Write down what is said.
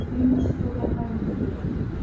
преимущества компании джи эль